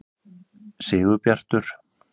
Sigurbjartur